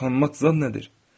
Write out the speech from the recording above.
Utanmaq zad nədir?